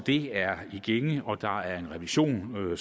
er i gænge og der er en revision af